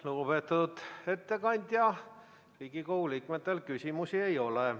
Lugupeetud ettekandja, Riigikogu liikmetel küsimusi ei ole.